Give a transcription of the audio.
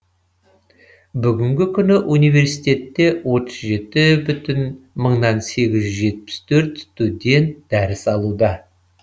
бүгінгі күні университетте отыз жеті мың сегіз жүз жетпіс төрт студент дәріс алуда